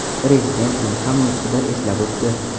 Prezident buni ham nutqida eslab o‘tdi.